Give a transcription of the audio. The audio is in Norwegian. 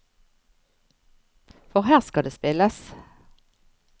For her skal det spilles!